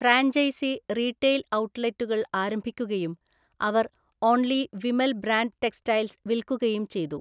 Franchise retail ഔട്ട്ലെറ്റുകൾ ആരംഭിക്കുകയും അവർ ഒൺലി വിമൽ ബ്രാൻഡ് ടെക്സ്റ്റൈൽസ് വിൽക്കുകയും ചെയ്തു.